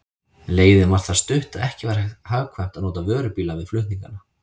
Leiðin var það stutt, að ekki var hagkvæmt að nota vörubíla við flutningana.